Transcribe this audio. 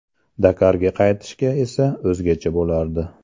Dakarga qaytishga esa o‘zgacha bo‘lardi.